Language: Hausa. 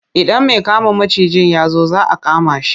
Idan mai kama macijin ya zo za a kama shi.